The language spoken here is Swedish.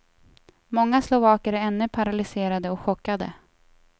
Många slovaker är ännu paralyserade och chockade.